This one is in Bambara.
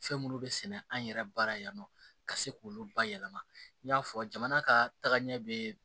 Fɛn minnu bɛ sɛnɛ an yɛrɛ baara yan nɔ ka se k'olu bayɛlɛma i y'a fɔ jamana ka taagaɲɛ bɛ